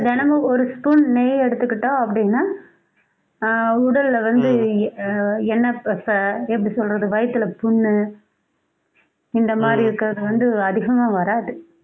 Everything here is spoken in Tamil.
தினமும் ஒரு spoon நெய் எடுத்துக்கிட்டோம் அப்படின்னா ஆஹ் உடல்ல வந்து எ~ ஆஹ் எண்ணெய் பசை எப்படி சொல்றது வயித்துல புண்ணு இந்த மாதிரி இருக்கிறது வந்து அதிகமாக வராது